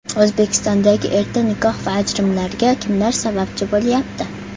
O‘zbekistondagi erta nikoh va ajrimlarga kimlar sababchi bo‘lyapti?.